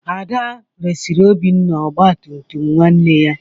Ada resịrị Obinna ọgba tum tum nwanne ya